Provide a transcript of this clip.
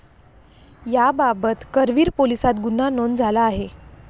याबाबत करवीर पोलिसात गुन्हा नोंद झाला आहे.